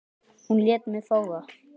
Hún lét mig fá það.